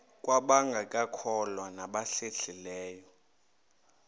kwabangekakholwa nabahlehli leyo